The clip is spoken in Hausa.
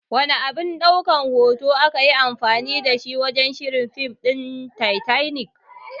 Wana abin ɗaukan hoto akayi anfani dashi wajan shirin fim ɗin Titanic?